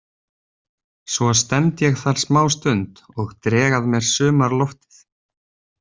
Svo stend ég þar smástund og dreg að mér sumarloftið.